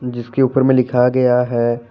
जिसके ऊपर में लिखा गया है।